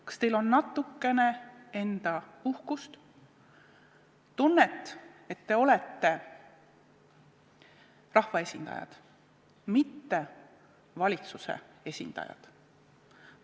Kas teil on natukene enda uhkust, tunnet, et te olete rahvaesindajad, mitte valitsuse esindajad?